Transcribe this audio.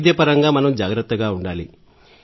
వైద్యపరంగా మనం జాగ్రత్తగా ఉండాలి